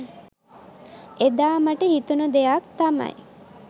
එදා මට හිතුණ දෙයක් තමයි